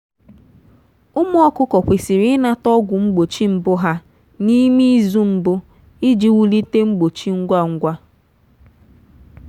ụmụ ọkụkọ kwesịrị ịnata ọgwụ mgbochi mbụ ha n’ime izu mbụ iji wulite mgbochi ngwa ngwa.